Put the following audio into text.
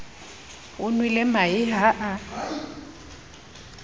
o nwele mahe ha a